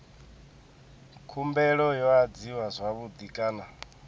khumbelo yo adziwa zwavhui kana